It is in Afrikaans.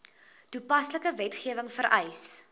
toepaslike wetgewing vereis